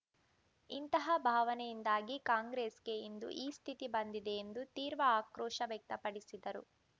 ಇಂತಹ ಭಾವನೆಯಿಂದಾಗಿ ಕಾಂಗ್ರೆಸ್‌ಗೆ ಇಂದು ಈ ಸ್ಥಿತಿ ಬಂದಿದೆ ಎಂದು ತೀರ್ವ ಆಕ್ರೋಶ ವ್ಯಕ್ತಪಡಿಸಿದರು